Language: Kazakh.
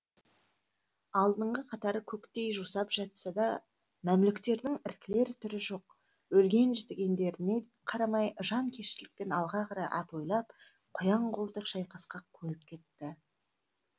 алдыңғы қатары көктей жусап жатса да мәмлүктердің іркілер түрі жоқ өлген жітігендеріне қарамай жанкештілікпен алға қарай атойлап қоян қолтық шайқасқа қойып кетті